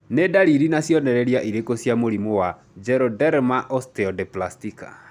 Nĩ ndariri na cionereria irĩkũ cia mũrimũ wa Geroderma osteodysplastica?